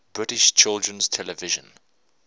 british children's television